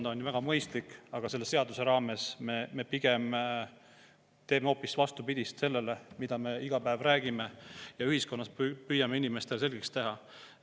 See on ju väga mõistlik, aga selle seaduse puhul me pigem teeme hoopis vastupidist sellele, mida me iga päev räägime ja ühiskonnas püüame inimestele selgeks teha.